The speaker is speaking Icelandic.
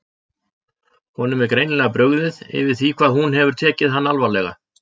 Honum er greinilega brugðið yfir því hvað hún hefur tekið hann alvarlega.